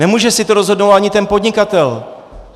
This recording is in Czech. Nemůže si to rozhodnout ani ten podnikatel.